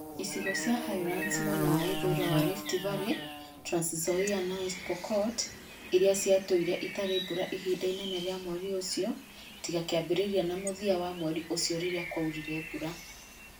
Icigo cia Highlands mwena wa ithũĩro wa Rift Valley (Trans Nzoia na West Pokot) iria ciatũũrire itarĩ mbura ihinda inene rĩa mweri ũcio tiga kĩambĩrĩria na mũthia wa mweri ũcio rĩrĩa kwaurire mbura